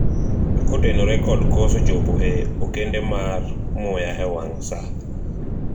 kotenore kod koso chopo e okende mar muya e wang' saa